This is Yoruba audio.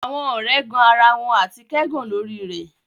Awọn ọrẹ ẹgan ara wọn ati kẹgàn lori rẹ